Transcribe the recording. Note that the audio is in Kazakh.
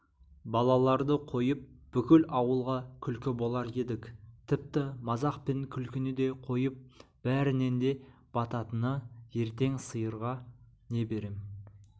балаларды қойып бүкіл ауылға күлкі болар едік тіпті мазақ пен күлкіні де қойып бәрінен де бататыныертең қоңыр сиырға не берем